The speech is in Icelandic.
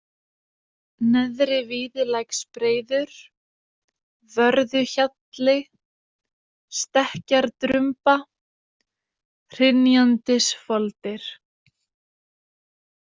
Neðri-Víðilæksbreiður, Vörðuhjalli, Stekkjardrumba, Hrynjandisfoldir